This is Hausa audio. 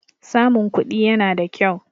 Samun kuɗi yana da kyau.